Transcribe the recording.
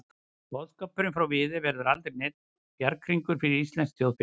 Boðskapurinn frá Viðey verður aldrei neinn bjarghringur fyrir íslenskt þjóðfélag.